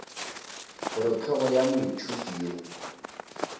gore hlogo ya moithuti yo